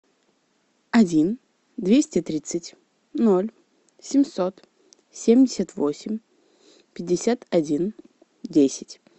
один двести тридцать ноль семьсот семьдесят восемь пятьдесят один десять